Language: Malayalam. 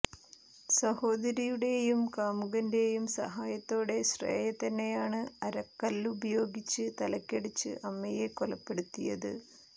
സഹോദരിയുടെയും കാമുകന്റെയും സഹായത്തോടെ ശ്രേയ തന്നെയാണ് അരക്കല്ലുപയോഗിച്ച് തലയ്ക്കടിച്ച് അമ്മയെ കൊലപ്പെടുത്തിയത്